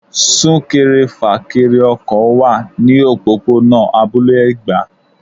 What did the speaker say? Sún-kẹrẹ-fà-kẹrẹ ọkọ̀ wá ní òpópónà abúlé Ẹ̀gbá.